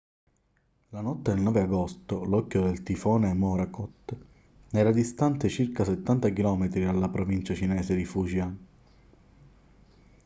la notte del 9 agosto l'occhio del tifone morakot era distante circa settanta chilometri dalla provincia cinese di fujian